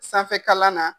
Sanfɛ kalan na